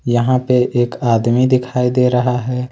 यहां पे एक आदमी दिखाई दे रहा है।